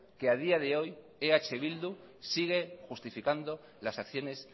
que a día de hoy eh bildu sigue justificando las acciones